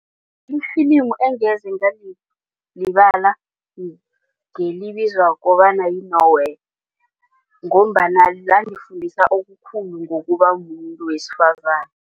Ifilimi engeze ngalilibala ngelibizwa kobana yi-Nowhere ngombana langifundisa okukhulu ngokubamumuntu wesifazana.